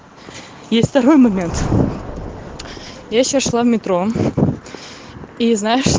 есть второй момент я сейчас в метро и знаешь